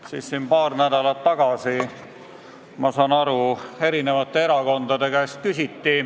Ma saan aru, et paar nädalat tagasi küsiti selle kohta ka teiste erakondade käest.